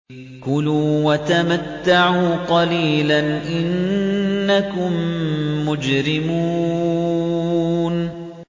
كُلُوا وَتَمَتَّعُوا قَلِيلًا إِنَّكُم مُّجْرِمُونَ